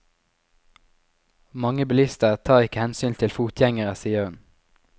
Mange bilister tar ikke hensyn til fotgjengere, sier hun.